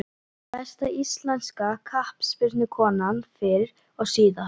Besta íslenska knattspyrnukonan fyrr og síðar?